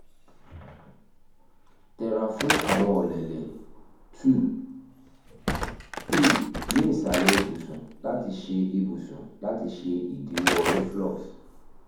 tẹra fun awọn ọlẹlẹ 2 - 3 ni isalẹ ibusun lati ṣe ibusun lati ṣe idiwọ reflux